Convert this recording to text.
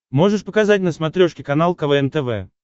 можешь показать на смотрешке канал квн тв